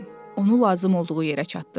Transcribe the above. Onu lazım olduğu yerə çatdır.